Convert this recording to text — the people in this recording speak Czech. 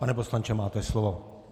Pane poslanče, máte slovo.